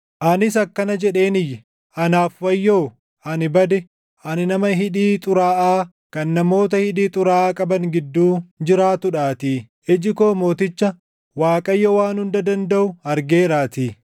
Anis akkana jedheen iyye; “Anaaf wayyoo! Ani bade! Ani nama hidhii xuraaʼaa kan namoota hidhii xuraaʼaa qaban gidduu jiraatuudhaatii; iji koo Mooticha, Waaqayyoo Waan Hunda Dandaʼu argeeraatii.”